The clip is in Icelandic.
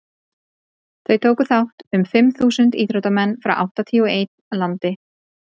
þó tóku þátt um fimm þúsund íþróttamenn frá áttatíu og einn landi